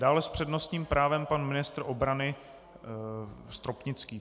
Dále s přednostním právem pan ministr obrany Stropnický.